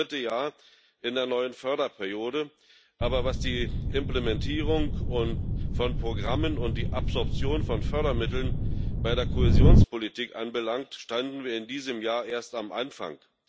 war das dritte Jahr in der neuen Förderperiode, aber was die Implementierung von Programmen und die Absorption von Fördermitteln bei der Kohäsionspolitik anbelangt, standen wir in diesem Jahr erst am Anfang.